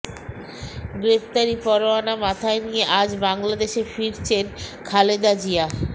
গ্রেপ্তারি পরোয়ানা মাথায় নিয়ে আজ বাংলাদেশে ফিরছেন খালেদা জিয়া